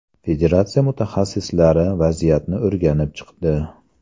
Federatsiya mutaxassislari vaziyatni o‘rganib chiqdi.